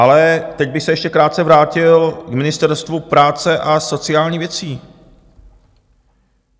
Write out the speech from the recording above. Ale teď bych se ještě krátce vrátil k Ministerstvu práce a sociální věcí.